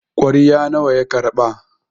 kwarya nawa ya karɓa?